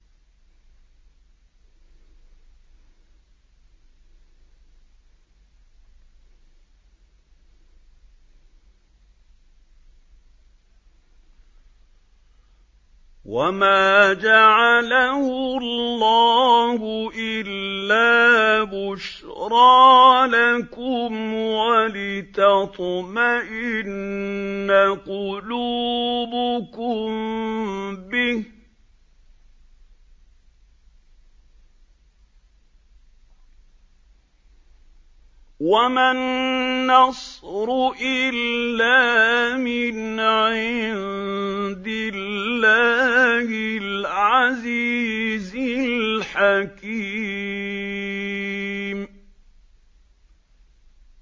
وَمَا جَعَلَهُ اللَّهُ إِلَّا بُشْرَىٰ لَكُمْ وَلِتَطْمَئِنَّ قُلُوبُكُم بِهِ ۗ وَمَا النَّصْرُ إِلَّا مِنْ عِندِ اللَّهِ الْعَزِيزِ الْحَكِيمِ